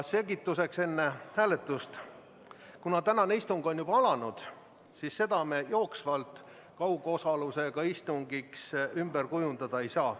Selgituseks enne hääletust nii palju, et kuna tänane istung on alanud, siis seda me jooksvalt kaugosalusega istungiks ümber kujundada ei saa.